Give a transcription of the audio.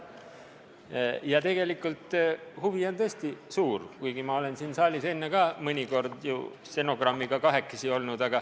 Aga ka tegelikult on huvi tõesti suur, ma olen siin saalis enne mõnikord stenogrammiga kahekesi olnud.